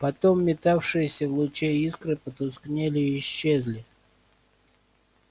потом метавшиеся в луче искры потускнели и исчезли